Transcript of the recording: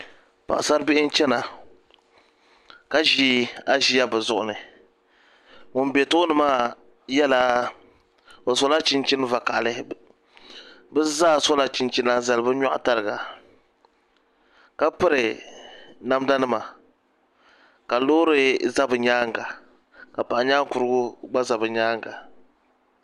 Paɣasaribihi n chɛna ka ʒi aʒiya bi zuɣu ni ŋun bɛ tooni maa sola chinchin vakaɣali bi zaa sola chinchina n zali bi nyoɣu tariga ka piri namda nima ka loori ʒɛ bi nyaanga ka paɣa nyaan kurugu gba ʒɛ bi nyaanga